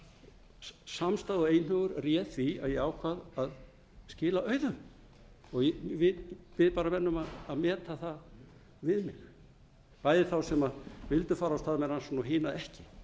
dag samstaða og einhugur réð því að ég ákvað að skila auðu og við reynum að meta það við mig bæði þá sem vildu fara af stað með rannsókn og hina ekki ég